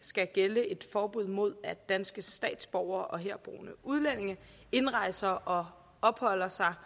skal gælde et forbud mod at danske statsborgere og herboende udlændinge indrejser og opholder sig